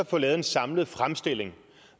få lavet en samlet fremstilling